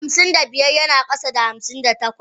Hamsin da biyar yana kasa da hamsin da takwas.